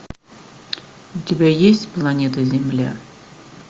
у тебя есть планета земля